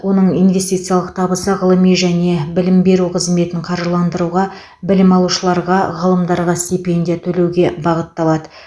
оның инвестициялық табысы ғылыми және білім беру қызметін қаржыландыруға білім алушыларға ғалымдарға стипендия төлеуге бағытталады